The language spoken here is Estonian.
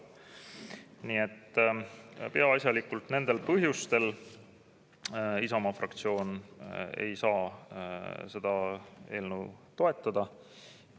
Nii et peaasjalikult nendel põhjustel Isamaa fraktsioon ei saa seda eelnõu toetada.